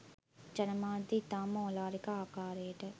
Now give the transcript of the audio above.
ජනමාධ්‍ය ඉතාම ඕලාරික ආකාරයට